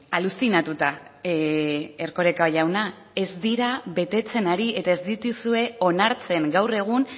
aluzinatuta erkoreka jauna ez dira betetzen ari eta ez dituzue onartzen gaur egun